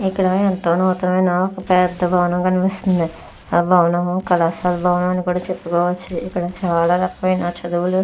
ఇక్కడ ఎంతో నూతనమైన ఒక పెద్ద భవనం కనిపిస్తుంది ఆ భవనము కళాశాల భవనం అని కూడా చెప్పుకోవచ్చు ఇక్కడ చాలా రకమైన చదువులు --